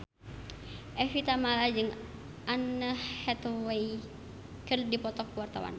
Evie Tamala jeung Anne Hathaway keur dipoto ku wartawan